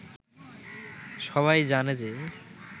সবাই জানে যে